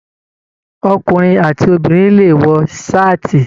Ọkùnrin àti Obìnrin le wọ saati.